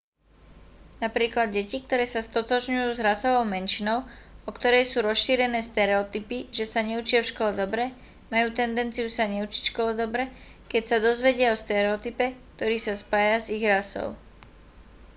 napríklad deti ktoré sa stotožňujú s rasovou menšinou o ktorej sú rozšírené stereotypy že sa neučia v škole dobre majú tendenciu sa neučiť v škole dobre keď sa dozvedia o stereotype ktorý sa spája s ich rasou